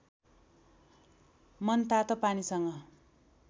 मनतातो पानीसँग